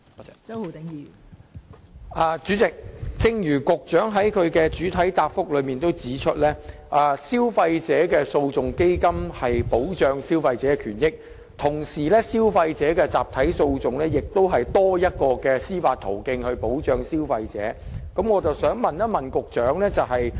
代理主席，正如局長在主體答覆中指出，基金的目的旨在保障消費者的權益，而消費者集體訴訟機制亦同時多提供一項保障消費者的司法途徑。